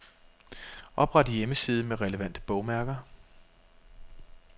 Opret hjemmeside med relevante bogmærker.